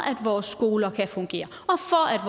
at vores skoler kan fungere